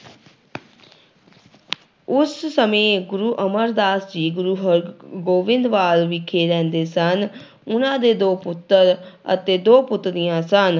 ਉਸ ਸਮੇਂ ਗੁਰੂ ਅਮਰਦਾਸ ਜੀ ਗੁਰੂ ਹਰਗੋਬਿੰਵਾਲ ਵਿਖੇ ਰਹਿੰਦੇ ਸਨ ਉਹਨਾਂ ਦੇ ਦੋ ਪੁੱਤਰ ਅਤੇ ਦੋ ਪੁੱਤਰੀਆਂ ਸਨ।